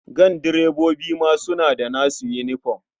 Gandirebobi ma suna da nasu yinifom.